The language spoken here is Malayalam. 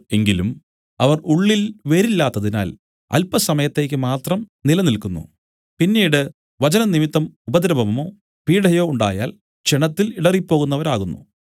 എങ്കിലും അവർ ഉള്ളിൽ വേരില്ലാത്തതിനാൽ അല്പസമയത്തേക്ക് മാത്രം നിലനിൽക്കുന്നു പിന്നീട് വചനംനിമിത്തം ഉപദ്രവമോ പീഢയോ ഉണ്ടായാൽ ക്ഷണത്തിൽ ഇടറിപ്പോകുന്നവരാകുന്നു